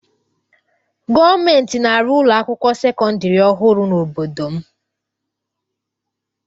Gọọmentị na-arụ ụlọ akwụkwọ sekọndịrị ọhụrụ n'obodo m.